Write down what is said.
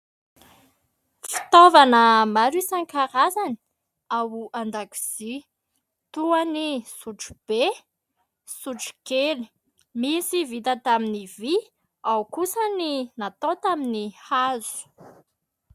Fitaovana maro isankarazany ao an-dakozia toa ny sotrobe, sotokely, misy vita tamin'ny vy ao kosa ny natao tamin'ny hazo.